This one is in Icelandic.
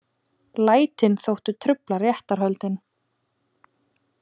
Lætin þóttu trufla réttarhöldin